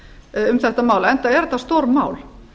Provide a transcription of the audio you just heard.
um þetta mál enda er þetta stórmál